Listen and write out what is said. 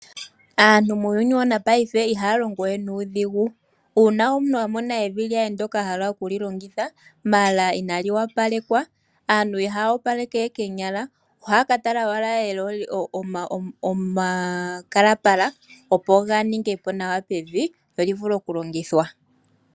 Aantu muuyuni wopaife ihaya longo we nuudhigu, uuna omuntu a mona evi lye ndoka a hala oku li longitha ndele inali opalekwa, aantu ihaya opaleke we koonyala ohaya ka tala owala omakalapala opo ga ninge po nawa pevi lyo lyivule okulongithwa.